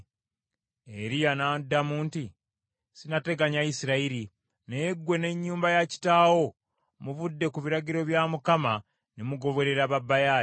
Eriya n’addamu nti, “Sinnateganya Isirayiri, naye ggwe n’ennyumba ya kitaawo, muvudde ku biragiro bya Mukama ne mugoberera ba Baali.